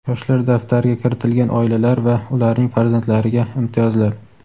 "Yoshlar daftari"ga kiritilgan oilalar va ularning farzandlariga imtiyozlar.